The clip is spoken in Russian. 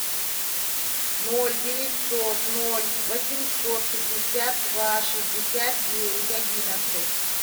ноль девятьсот ноль восемьсот пятьдесят два шестьдесят девять одиннадцать